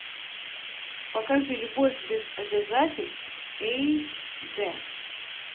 покажи любовь без обязательств эйч д